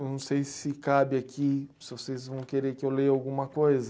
Não sei se cabe aqui, se vocês vão querer que eu leia alguma coisa.